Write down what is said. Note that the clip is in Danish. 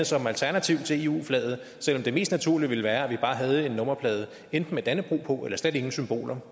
som alternativ til eu flaget selv om det mest naturlige ville være at vi bare havde en nummerplade enten med dannebrog på eller slet ingen symboler